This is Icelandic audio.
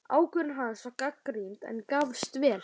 Ákvörðun hans var gagnrýnd, en gafst vel.